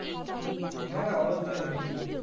হ্যাঁ হ্যাঁ অবশ্যই দেখেছি।